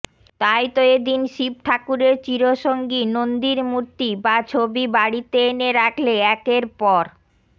তাই তো এদিন শিব ঠাকুরের চিরসঙ্গী নন্দীর মূর্তি বা ছবি বাড়িতে এনে রাখলে একের পর